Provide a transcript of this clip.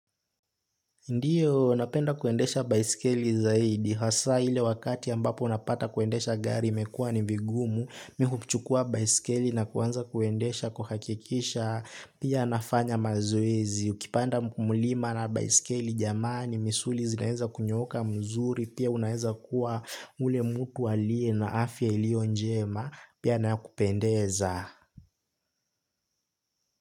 Ndiyo, napenda kuendesha baisikeli zaidi. Hasa ile wakati ambapo unapata kuendesha gari imekuwa ni vigumu, mi huchukua baiskeli na kuanza kuendesha kuhakikisha, pia nafanya mazoezi. Ukipanda mulima na baiskeli, jamani, misuli zinaeza kunyooka mzuri, pia unaeza kuwa ule mtu aliye na afya iliyo njema, pia na kupendeza.